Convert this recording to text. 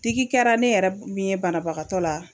Digi kɛra ne yɛrɛ min ye banabagatɔ la